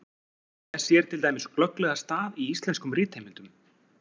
Þess sér til dæmis glögglega stað í íslenskum ritheimildum.